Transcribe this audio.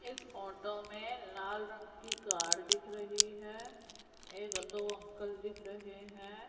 इस फोटो में लाल रंग की कार दिख रही है एक दो अंकल दिख रहे हैं।